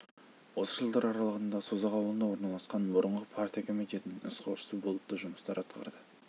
осы жылдар аралығында созақ ауылында орналасқан бұрынғы партия комитетінің нұсқаушысы болып та жұмыстар атқарды